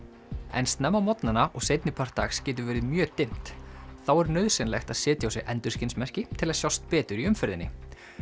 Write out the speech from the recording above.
en snemma á morgnana og seinni part dags getur verið mjög dimmt þá er nauðsynlegt að setja á sig endurskinsmerki til að sjást betur í umferðinni